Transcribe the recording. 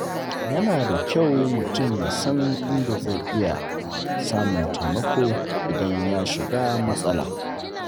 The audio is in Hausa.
Yana da kyau mutum ya san inda zai iya samun taimako idan ya shiga matsala.